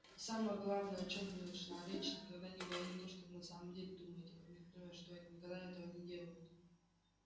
а самое главное о чем бы ни шла речь никогда не говорить то что вы на самом деле думаете памятуя что они никогда этого не делают